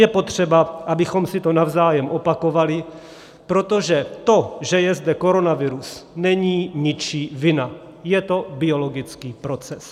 Je potřeba, abychom si to navzájem opakovali, protože to, že je zde koronavirus, není ničí vina, je to biologický proces.